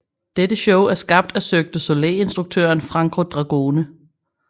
Dette show er skabt af Cirque du Soleil instruktøren Franco Dragone